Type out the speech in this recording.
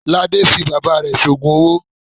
Lade fi bàbá rẹ̀ ṣe òògùn owó.